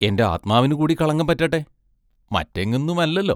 എന്റെ ആത്മാവിനുകൂടി കളങ്കം പറ്റട്ടെ മറ്റെങ്ങുന്നുമല്ലല്ലോ?